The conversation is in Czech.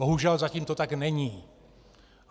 Bohužel zatím to tak není.